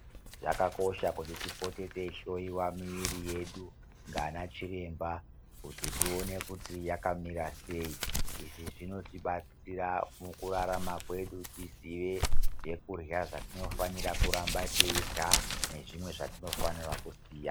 Zvakakosha kuti tipote teyihloyiwa miviri yedu nganachiremba, kuti tiwone kuti yakamira sei, izvi zvinotibatsira mukurarama kwedu, tiziye zvekurya zvetinofanira kuramba tiyirya nezvimwe zvatinofanira kusiya.